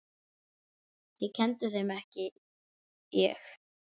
Þið kennduð þeim, ekki ég.